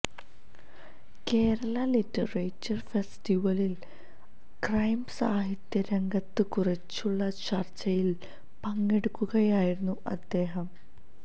Kerala literature ഫെസ്റ്റിവലിൽ crime സാഹിത്യ രംഗത്തെക്കുറിച്ചുള്ള ചർച്ചയിൽ പങ്കെടുക്കുകയായിരുന്നു അദ്ദേഹം